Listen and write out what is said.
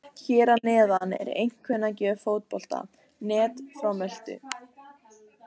Hér að neðan er einkunnagjöf Fótbolta.net frá Möltu.